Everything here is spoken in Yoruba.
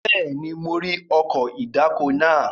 Bẹ́ẹ̀ni, mo rí ọkọ̀ ìdáko náà.